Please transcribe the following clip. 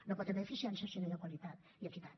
no hi pot haver eficiència si no hi ha qualitat i equitat